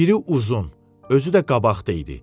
Biri uzun, özü də qabaqda idi.